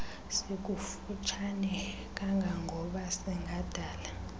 sikufutshane kangangoba singadala